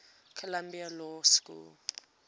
columbia law school